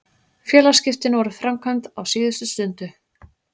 Félagsskiptin voru framkvæmd á síðustu stundu.